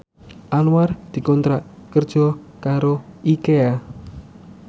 Anwar dikontrak kerja karo Ikea